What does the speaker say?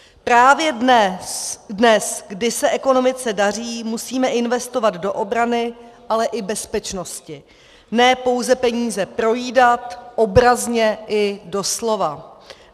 Právě dnes, kdy se ekonomice daří, musíme investovat do obrany, ale i bezpečnosti, ne pouze peníze projídat, obrazně i doslova.